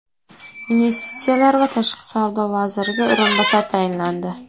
Investitsiyalar va tashqi savdo vaziriga o‘rinbosar tayinlandi.